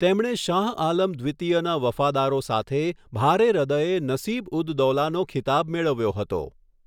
તેમણે શાહ આલમ દ્વિતીયના વફાદારો સાથે ભારે હૃદયે નસિબ ઉદ દૌલાનો ખિતાબ મેળવ્યો હતો.